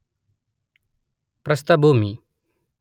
ಪ್ರಸ್ಥಭೂಮಿ